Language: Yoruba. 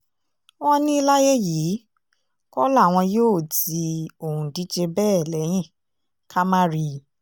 wọ́n ní láyé yìí kọ́ làwọn yóò ti òǹdíje bẹ́ẹ̀ lẹ́yìn ká má rí i